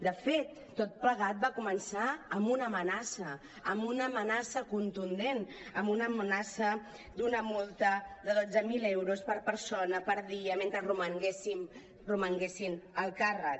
de fet tot plegat va començar amb una amenaça amb una amenaça contundent amb una amenaça d’una multa de dotze mil euros per persona per dia mentre romanguessin en el càrrec